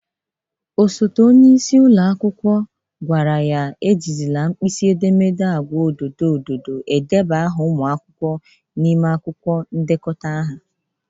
Osote onyeisi ụlọ akwụkwọ gwara ya e jizịla nkpịsị edemede agwa odo odo edeba aha ụmụ akwụkwọ n'ime ndekọta aha.